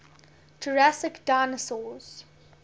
jurassic dinosaurs